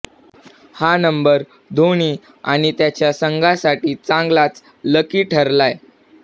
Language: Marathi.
हा नंबर धोनी आणि त्याच्या संघासाठी चांगलाच लकी ठरलाय